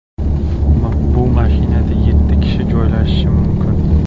Bu mashinada yeti kishi joylashishi mumkin.